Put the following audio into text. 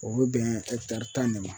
O be bɛn tan de ma.